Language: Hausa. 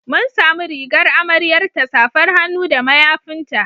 Mun samu rigar amaryarta, safar hannu da mayafinta.